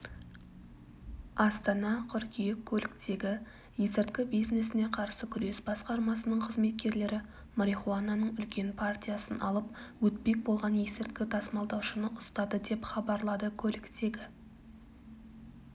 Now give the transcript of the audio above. астана қыркүйек көліктегі есірткі бизнесіне қарсы күрес басқармасының қызметкерлері марихуананың үлкен партиясын алып өтпек болған есірткі тасымалдаушыны ұстады деп хабарлады көліктегі